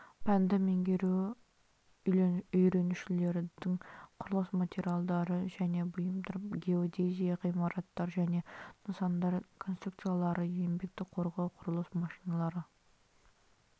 пәнді меңгеру үйренушілердің құрылыс материалдары және бұйымдар геодезия ғимараттар және нысандар конструкциялары еңбекті қорғау құрылыс машиналары